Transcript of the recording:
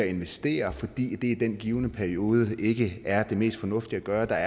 investere fordi det i den givne periode ikke er det mest fornuftige at gøre da